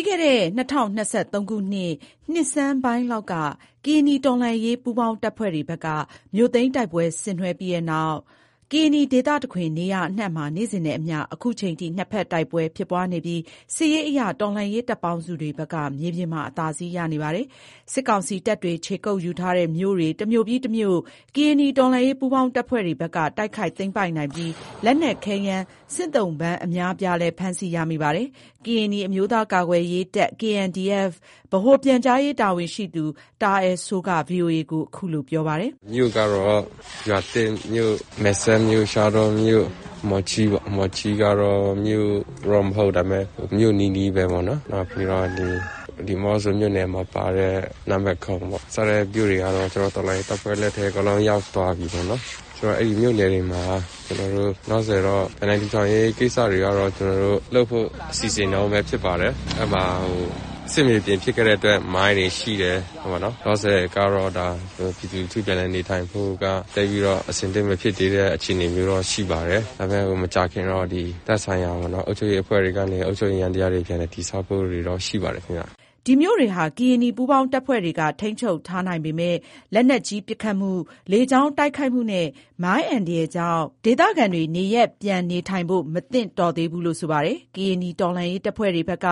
ီးခဲ့တဲ့ ၂၀၂၃ ခုနှစ် နှစ်ဆန်ပိုင်းလောက်က ကရင်နီတော်လှန်ရေးပူးပေါင်းတပ်ဖွဲ့တွေဘက်က မြို့သိမ်းတိုက်ပွဲ ဆင်နွှဲပြီးတဲ့နောက် ကရင်နီဒေသတခွင် နေရာအနှံ့မှာ နေ့စဉ်နဲ့အမျှ ယခုချိန်ထိ နှစ်ဖက်တိုက်ပွဲဖြစ်ပွားနေပြီး စစ်ရေးအရ တော်လှန်ရေးတပ်ပေါင်းစုတွေဘက်က မြေပြင်မှာ အသာစီးရနေပါတယ်။ စစ်ကောင်စီတပ်တွေ ခြေကုတ်ယူထားတဲ့ မြို့ တွေ တစ်မြို့ ပြီး တစ်မြို့ ကရင်နီတော်လှန်ရေးပူးပေါင်းတပ်ဖွဲ့တွေဘက်က တိုက်ခိုက် သိမ်းပိုက်နိုင်ပြီး လက်နက်ခဲယမ်း၊ စစ်သုံးပန့်အများအပြားလည်း ဖမ်းဆီးရမိပါတယ်။ ကရင်နီအမျိုးသားများကာကွယ်ရေးတပ် KNDF ဗဟိုပြန်ကြားရေး တာဝန်ရှိသူ တာအယ်စိုးက ဗွီအိုအေကို ခုလိုပြောပါတယ်။ “မြို့ကတော့ ရွာသစ်မြို့၊ မယ်စဲ့မြို့၊ ရှားတောမြို့၊ မော်ချီးပေါ့ မော်ချီးက မြို့တော့ မဟုတ်ဘူး၊ ဒါပေမယ့် မြို့နီးနီးပဲပေါ့နော်၊ နောက်ပြီးတော့ ဒီးမော့ဆိုမြို့နယ်မှာပါတဲ့ နန်းမယ်ခုံပေါ့ စတဲ့ မြို့တွေကတော့ ကျနော်တို့ တော်လှန်ရေးတပ်ဖွဲ့ လက်ထဲအကုန်လုံးရောက်သွားပြီးပေါ့နော်။ ဆိုတော့ အဲ့မြို့နယ်တွေမှာ ကျနော်တို့ လောလောဆယ်တော့ ပြန်လည်ထောင်ရေး ကိစ္စတွေကတော့ ကျနော်တို့ လုပ်ဖို့ စီစဉ်တုန်းပဲဖြစ်ပါတယ်။ အဲ့မှာ စစ်မြေပြင်ဖြစ်ခဲ့တဲ့အတွက် မိုင်းတွေ ရှိတယ်ပေါ့နော်။ လောလောဆယ် ပြည်သူလူထုပြန်လည်နေထိုင်ဖို့က သိပ်ပြီးတော့ အဆင်သင့်မဖြစ်သေးတဲ့ အခြေအနေမျိုးတော့ ရှိပါတယ်။ ဒါပေမယ့် မကြာခင်တော့ သက်ဆိုင်ရာပေါ့နော် အုပ်ချုပ်ရေးအဖွဲ့တွေကနေ အုပ်ချုပ်ရေးယန္တရားတွေ ပြန်လည်တည်ဆောက်ဖို့တွေတော့ ရှိပါတယ်ခင်ဗျ။” ဒီမြို့တွေဟာ ကရင်နီပူးပေါင်းတပ်ဖွဲ့တွေက ထိန်းချုပ်ထားနိုင်ပေမဲ့ လက်နက်ကြီးပစ်ခတ်မှု၊ လေကြောင်းတိုက်ခိုက်မှုနဲ့ မိုင်း အန္တရာယ်ကြောင့် ဒေသခံတွေ နေရပ်ပြန်နေထိုင်ဖို့ မသင့်တော်သေးဘူးလို့ ဆိုပါတယ်။ ကရင်နီတော်လှန်ရေးတပ်ဖွဲ့တွေဘက်က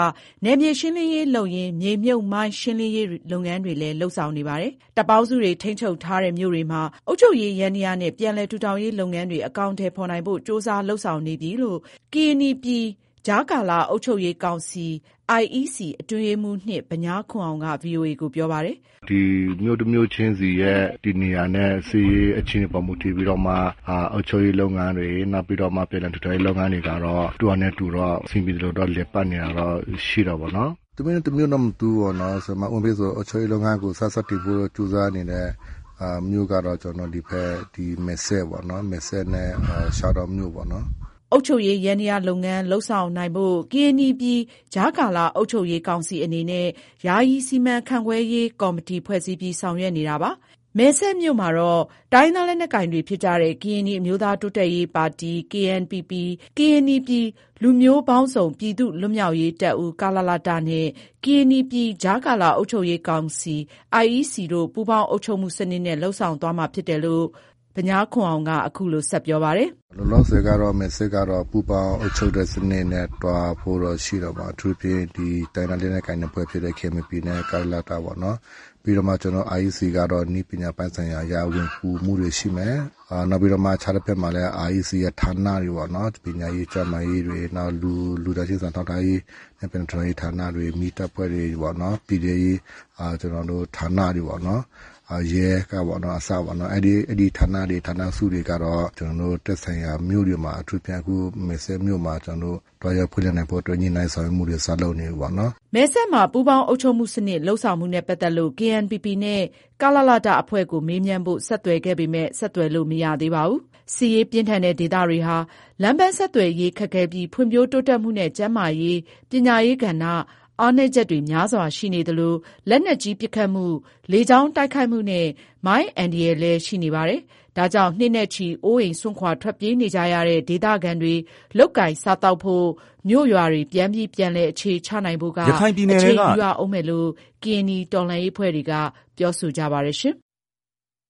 နယ်မြေရှင်းလင်းရေးလုပ်ရင်း မြေမြှုပ်မိုင်း ရှင်းလင်းရေး လုပ်ငန်းတွေလည်း လုပ်ဆောင်နေပါတယ်။ တပ်ပေါင်းစုတွေ ထိန်းချုပ်ထားတဲ့ မြို့တွေမှာ အုပ်ချုပ်ရေးယန္တရားနဲ့ ပြန်လည်ထူထောင်ရေး လုပ်ငန်းတွေ အကောင်အထည်ဖော်နိုင်ဖို့ ကြိုးစားလုပ်ဆောင်နေပြီလို့ ကရင်နီပြည် ကြားကာလ အုပ်ချုပ်ရေး ကောင်စီ အတွင်းရေးမှူး ဗညားခွန်အောင်က ဗွီအိုအေကို ပြောပါတယ်။ “ဒီမြို့တစ်မြို့ချင်းစီရဲ့ တည်နေရာနဲ့ စစ်ရေးအခြေအနေပေါ် မူတည်ပြီးတော့မှ အုပ်ချုပ်ရေးလုပ်ငန်းတွေ နောက်ပြီးတော့မှ ပြန်လည်ထူထောင်ရေး လုပ်ငန်းတွေကတော့ သူ့ဟာနဲ့ သူတော့ အဆင်ပြေသလိုတော့ လည်ပတ်နေတာတော့ ရှိတာပေါ့နော်။ တစ်မြို့နဲ့ တစ်မြို့မတူဘူးပေါ့နော်။ ဥပမာအားဖြင့်ဆို အုပ်ချုပ်ရေးလုပ်ငန်းကို စတင်ဖို့ ကြိုးစားနေတဲ့ မြို့ကတော့ ကျနော်တို့ ဒီဖက် မယ့်စဲပေါ့နော်၊ မယ်စဲ့နဲ့ ရှားတောမြို့ပေါ့နော်။” အုပ်ချုပ်ရေးယန္တရားလုပ်ငန်း လုပ်ဆောင်နိုင်ဖို့ ကရင်နီပြည် ကြားကာလ အုပ်ချုပ်ရေး ကောင်စီအနေနဲ့ ယာယီ စီမံခန့်ခွဲရေးကော်မတီဖွဲ့စည်းပြီး ဆောင်ရွက်နေတာပါ။ မယ်စဲ့မြို့မှာတော့ တိုင်းရင်းသား လက်နက်ကိုင်တွေဖြစ်ကြတဲ့ ကရင်နီ အမျိုးသား တိုးတက်ရေးပါတီ ၊ ကရင်နီပြည် လူမျိုးပေါင်းစုံပြည်သူ့ လွတ်မြောက်ရေးတပ်ဦး နဲ့ ကရင်နီပြည် ကြားကာလ အုပ်ချုပ်ရေး ကောင်စီ တို့ ပူးပေါင်းအုပ်ချုပ်မှုစနစ်နဲ့ လုပ်ဆောင်သွားမှာဖြစ်တယ်လို့ IEC အတွင်းရေးမှူး ဗညာခွန်အောင်က ခုလို ပြောပါတယ်။ “လောလောဆယ်ကတော့ မယ်စဲ့ကတော့ ပူးပေါင်းအုပ်ချုပ်တဲ့ စနစ်နဲ့ သွားဖို့တော့ ရှိတာပေါ့။ အထူးသဖြင့် ဒီတိုင်းရင်းသားလက်နက်ကိုင် နှစ်ဖွဲ့ဖြစ်တဲ့ KNPPနဲ့ ကလလတ ပေါ့နော်။ ပြီးမှ ကျနော်တို့ IEC ကတော့ နည်းပညာပိုင်းဆိုင်ရာအရ ဝင်ကူမှုတွေ ရှိမယ်။ နောက်ပြီးတော့မှ အခြားတဖက်မှာလည်း IEC ရဲ့ ဌာနတွေပေါ့နော်။ ပညာရေး ကျန်းမာရေးတွေ နောက် လူသားချင်းစာနာထောက်ထားရေးနဲ့ ပြန်လည်ထူထောင်ရေးဌာနတွေ မီးတပ်ဖွဲ့တွေပေါ့နော်၊ ပြည်ထဲဌာနတွေပေါ့နော် ရဲကအစပေါ့နော် အဲ့ဒီဌာနတွေ ဌာနစုတွေကတော့ ကျနော်တို့ သက်ဆိုင်ရာမြို့တွေမှာ အထူးသဖြင့် အခုမယ်စဲ့မြို့မှာ ကျနော်တို့ သွားရောက်ဖွင့်လှစ်နိုင်ဖို့အတွက် ညှိုနှိုင်းဆောင်ရွက်မှုတွေ စလုပ်နေပြီပေါ့နော်။” မယ်စဲ့မှာ ပူးပေါင်းအုပ်ချုပ်မှုစနစ် လုပ်ဆောင်မှုနဲ့ ပတ်သက်လို့ KNPP နဲ့ ကလလတ အဖွဲ့ကို မေးမြန်းဖို့ ဆက်သွယ်ခဲ့ပေမဲ့ ဆက်သွယ်လို့ မရသေးပါဘူး။ စစ်ရေးပြင်းထန်တဲ့ဒေသတွေဟာ လမ်းပန်းဆက်သွယ်ရေး ခက်ခဲပြီး ဖွံ့ဖြိုးတိုးတက်မှုနဲ့ ကျန်းမာရေး၊ ပညာရေးကဏ္ဍ အားနည်းချက်တွေ များစွာရှိနေသလို လက်နက်ကြီးပစ်ခတ်မှု၊ လေကြောင်းတိုက်ခိုက်မှုနဲ့ မိုင်း အန္တရာယ်တွေလည်း ရှိနေပါတယ်။ ဒါကြောင့် နှစ်နဲ့ချီ အိုးအိမ်စွန့်ခွာ ထွက်ပြေးနေကြရတဲ့ ဒေသခံတွေ လုပ်ကိုင်စားသောက်ဖို့ မြို့ ရွာတွေ ပြန်ပြီး ပြန်လည်အခြေချနိုင်ဖို့က အချိန်ယူရဦးမယ်လို့ ကရင်နီတော်လှန်းရေးအဖွဲ့တွေက ပြောဆိုကြပါတယ်။